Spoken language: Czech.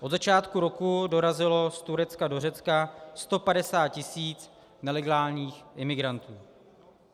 Od začátku roku dorazilo z Turecka do Řecka 150 tisíc nelegálních imigrantů.